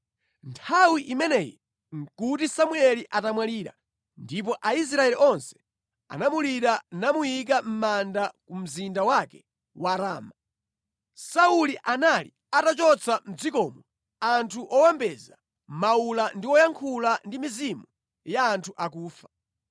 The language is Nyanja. Nthawi imeneyi nʼkuti Samueli atamwalira, ndipo Aisraeli onse anamulira namuyika mʼmanda ku mzinda wake wa Rama. Sauli anali atachotsa mʼdzikomo anthu owombeza mawula ndi woyankhula ndi mizimu ya anthu akufa.